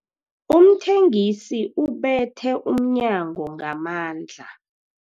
Umthengisi ubethe umnyango ngamandla.